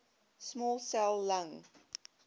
small cell lung